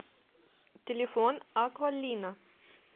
телефон аквалина